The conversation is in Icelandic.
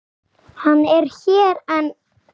Hann er hér enn.